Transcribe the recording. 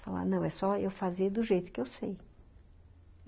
Falar, ''não, é só eu fazer do jeito que eu sei.''